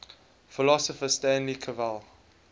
philosopher stanley cavell